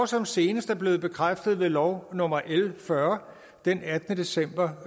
som senest er blevet bekræftet ved lov nummer l fyrre den attende december